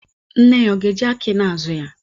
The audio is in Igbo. Nne ya, ọ ga-eji aki na-azụ ya?